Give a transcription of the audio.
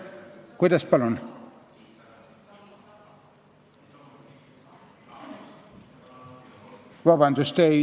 Kuidas, palun?